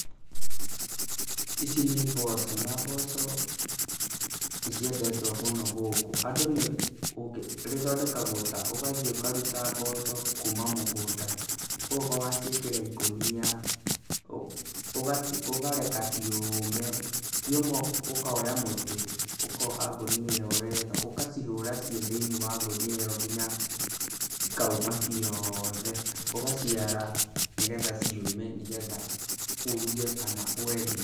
Ici nĩ mboco, na mboco nĩ ciendetwo mũno gũkũ, andũ nĩ, rĩthondekagwo ta ũgathiĩ ũkaruta mboco kuma mũgũnda, ũgoka ũgaciĩkĩra ikũnia, ũkareka ciũme, cioma ũkoya mũtĩ, ũkoha ngũnia ĩyo wega, ũgacihũra ciĩ thĩinĩ wa ngũnia ĩyo nginya cikauma ciothe, ũgaciara nĩgetha ciũme nĩgetha ũruge kana wendie.